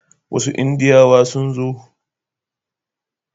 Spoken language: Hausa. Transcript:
Wasu Indiyawa sun zo.